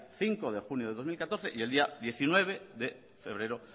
cinco de junio del dos mil catorce y el día diecinueve de febrero